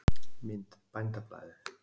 Mynd: Bændablaðið.